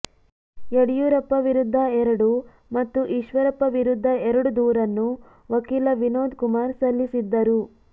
ಯಡಿಯೂರಪ್ಪ ವಿರುದ್ಧ ಎರಡು ಮತ್ತು ಈಶ್ವರಪ್ಪ ವಿರುದ್ದ ಎರಡು ದೂರನ್ನು ವಕೀಲ ವಿನೋದ್ ಕುಮಾರ್ ಸಲ್ಲಿಸಿದ್ದರು